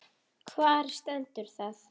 Hvar stendur það?